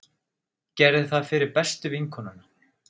Gerði það fyrir bestu vinkonuna.